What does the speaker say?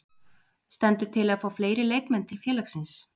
Stendur til að fá fleiri leikmenn til félagsins?